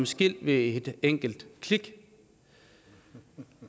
skilt ved et enkelt klik